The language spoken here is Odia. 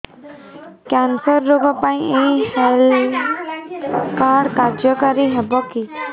କ୍ୟାନ୍ସର ରୋଗ ପାଇଁ ଏଇ ହେଲ୍ଥ କାର୍ଡ କାର୍ଯ୍ୟକାରି ହେବ କି